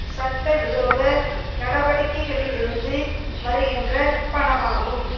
சட்ட விரோத நடவடிக்கைகளிலிருந்து வருகின்ற பணமாகும்